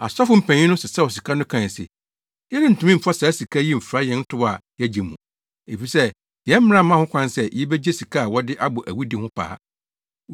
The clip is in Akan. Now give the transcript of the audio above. Asɔfo mpanyin no sesaw sika no kae se, “Yɛrentumi mfa saa sika yi mfra yɛn tow a yɛagye mu. Efisɛ yɛn mmara mma ho kwan sɛ yebegye sika a wɔde abɔ awudi ho paa.”